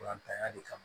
ya le kama